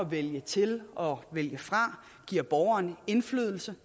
vælge til og vælge fra giver borgeren indflydelse